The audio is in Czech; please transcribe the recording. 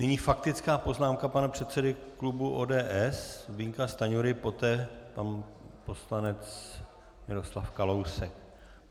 Nyní faktická poznámka pana předsedy klubu ODS Zbyňka Stanjury, poté pan poslanec Miroslav Kalousek.